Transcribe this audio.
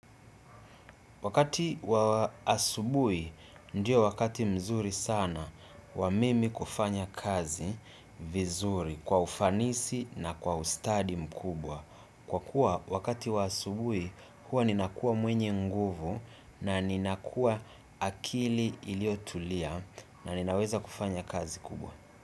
Wakati wa asubuhi ndio wakati nzuri sana ya mimi kufanya kazi vizuri kwa ufanisi na kwa ustadi mkubwa. Kwa kuwa, wakati wa asubuhi, huwa ninakuwa mwenye nguvu na ninakua akili iliotulia na ninaweza kufanya kazi kubwa.